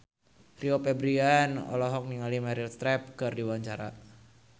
Rio Febrian olohok ningali Meryl Streep keur diwawancara